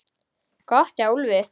Gott hjá Úlfi!